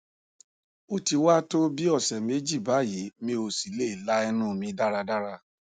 o ti wa to bi ọsẹ meji bayi mi o si le la ẹnu mi daradara